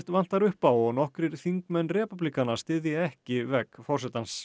vantar upp á og nokkrir þingmenn repúblikana styðja ekki vegg forsetans